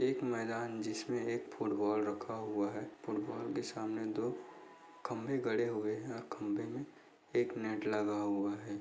एक मैदान जिसमे एक फूटबॉल रखा हुआ है। फुटबॉल के सामने दो खम्बे गड़े हुए है और खम्बे में एक नेट लगा हुआ है।